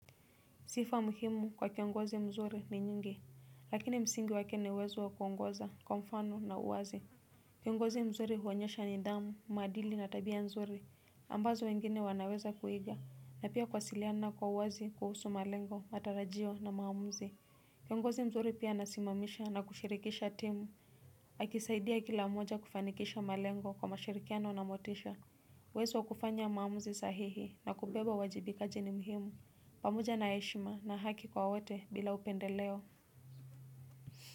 Sifa muhimu kwa kiongozi mzuri ni nyingi, lakini msingi wake ni uwezo wa kuongoza, kwa mfano na uwazi. Kiongozi mzuri huonyesha nidhamu, maadili na tabia nzuri, ambazo wengine wanaweza kuiga, na pia kuwasiliana kwa uwazi, kuhusu malengo, matarajio na maamuzi. Kiongozi mzuri pia anasimamisha na kushirikisha timu, akisaidia kila mmoja kufanikisha malengo kwa mashirikiano na motisha. Uwezo wa kufanya maamuzi sahihi na kubeba uwajibikaji ni muhimu pamoja na heshima na haki kwa wote bila upendeleo.